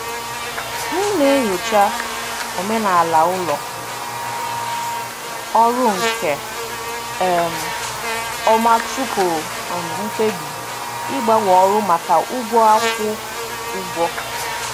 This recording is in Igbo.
M na-enyocha omenala ụlọ ọrụ nke um ọma tupu m ekpebi ịgbanwe ọrụ maka ụgwọ akwụ ụgwọ.